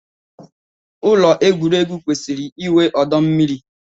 Ụlọ egwuregwu kwesịkwara inwe ọdọ mmiri